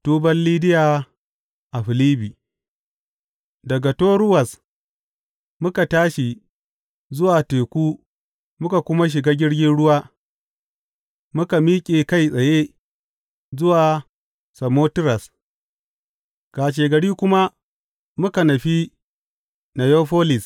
Tuban Lidiya a Filibbi Daga Toruwas muka tashi zuwa teku muka kuma shiga jirgin ruwa muka miƙe kai tsaye zuwa Samotiras, kashegari kuma muka nufi Neyafolis.